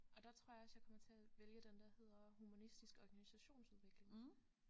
Og der tror jeg også jeg kommer til at vælge den der hedder humanistisk organisationsudvikling